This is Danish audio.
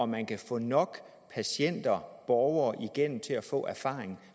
man kan få nok patienter borgere igennem til at få erfaring